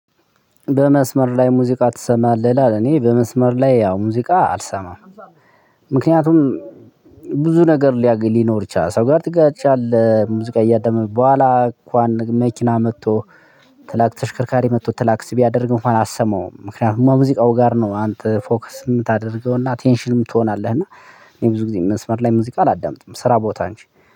በመስመር ላይ ሙዚቃ ትሰማለህ? ይላል እኔ በመስመር ላይ ያው ሙዚቃ አልሰማም። ምክንያቱም ብዙ ነገር ሊኖር ይችላል። ሰው ጋር ትጋጫለህ ሙዚቃ እያዳመጥክ በኋላ እንኳን መኪና መጥቶ ክላክስ ተሽከርካሪ መጥቶ ክላክስ ሲባል እንኳን አትሰማውም። ምክንያቱም ሙዚቃው ጋር ነው አንተ ፎከስ የምታደርገውና ቴንሽንም ትሆናለህ እና ብዙ ጊዜ መስመር ላይ ሙዚቃ አላዳምጥም። ስራ ቦታ እንጂ